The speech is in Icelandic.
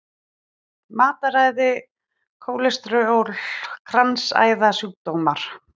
Matarræði, kólesteról, kransæðasjúkdómar.